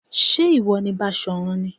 Ṣé ìwọ ni Basọ̀run ni?